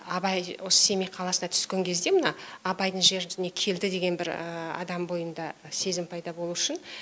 абай осы семей қаласына түскен кезде мына абайдың жеріне келді деген бір адам бойында сезім пайда болу үшін